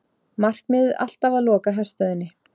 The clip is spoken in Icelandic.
Markmiðið alltaf að loka herstöðinni